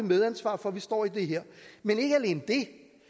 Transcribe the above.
medansvar for at vi står i det her men ikke alene det